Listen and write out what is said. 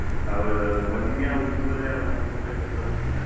ಹೌದು ಹೌದು ಮತ್ತಿನ್ಯಾವಾಗ ನಿಮ್ ಮದ್ವೆ ಯಾವಾಗ ನಿಮ್ ಮದ್ವೇಗ್ ಕರ್ಯೋದು ನಮ್ಮನ Laugh.